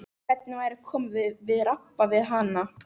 Hvernig væri að koma við og rabba við hana?